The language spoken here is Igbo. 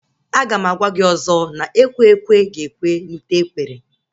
Aga m agwa gị ọzọ na ekwe ekwe ga-ekwe na ute ekwere